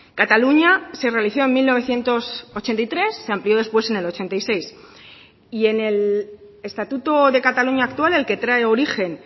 cataluña se realizó en mil novecientos ochenta y tres se amplió después en el ochenta y seis y en el estatuto de cataluña actual el que trae origen